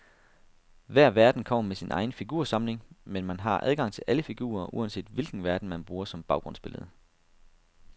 Hver verden kommer med sin egen figursamling, men man har adgang til alle figurer, uanset hvilken verden, man bruger som baggrundsbillede.